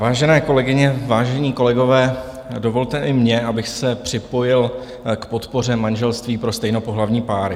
Vážené kolegyně, vážení kolegové, dovolte i mně, abych se připojil k podpoře manželství pro stejnopohlavní páry.